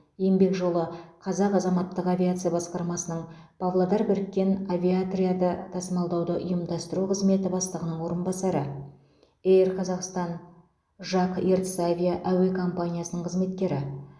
еңбек жолы қазақ азаматтық авиация басқармасының павлодар біріккен авиаотряды тасымалдауды ұйымдастыру қызметі бастығының орынбасары эйр қазақстан жак ертіс авиа әуе компаниясының қызметкері